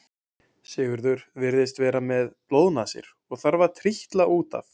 Sigurður virðist vera með blóðnasir og þarf að trítla út af.